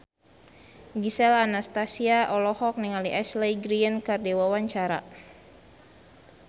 Gisel Anastasia olohok ningali Ashley Greene keur diwawancara